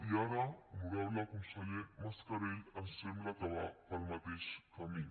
i ara honorable conseller mascarell ens sembla que va pel mateix camí